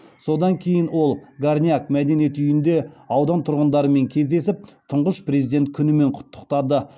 содан кейін ол горняк мәдениет үйінде аудан тұрғындарымен кездесіп тұңғыш президент күнімен құттықтады